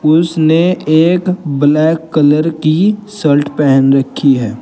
उसने एक black colour की शल्ट पहन रखी है।